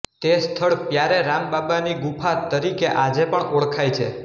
તે સ્થળ પ્યારેરામબાબા ની ગુફા તરીકે આજે પણ ઓળખાય છે